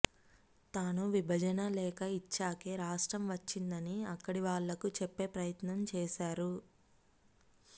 తాను విభజన లేఖ ఇచ్చాకే రాష్ట్రం వచ్చిందని అక్కడి వాళ్లకు చెప్పే ప్రయత్నం చేసారు